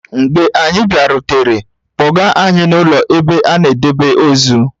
Mgbe anyị bịarutere, kpọga anyị n'ụlọ ebe a na-edebe ozu.